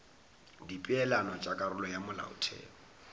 dipeelano tša karolo ya molaotheo